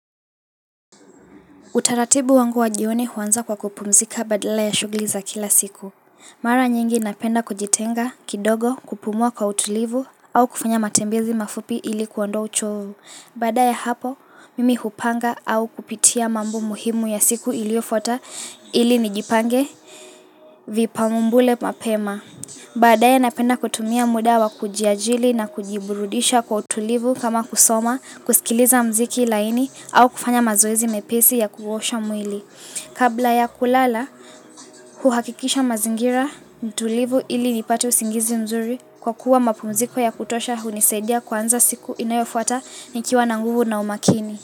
Utaratibu wangu wa jioni huanza kwa kupumzika badala ya shugli za kila siku. Mara nyingi napenda kujitenga kidogo kupumua kwa utulivu au kufanya matembezi mafupi ilikuondoa uchovu. Baada ya hapo, mimi hupanga au kupitia mambo muhimu ya siku iliofuata ili nijipange vipamumbule mapema. Baadae napenda kutumia muda wa kujiajili na kujiburudisha kwa utulivu kama kusoma, kusikiliza mziki laini au kufanya mazoezi mepesi ya kuosha mwili Kabla ya kulala, huhakikisha mazingira, nitulivu ili nipate usingizi mzuri kwa kuwa mapumziko ya kutosha hunisaidia kwanza siku inayofuata nikiwa na nguvu na umakini.